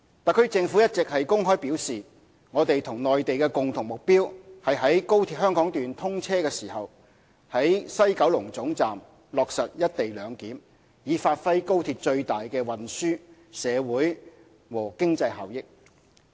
特區政府一直公開表示，我們與內地的共同目標是在高鐵香港段通車時，於西九龍總站落實"一地兩檢"，以發揮高鐵最大的運輸、社會和經濟效益。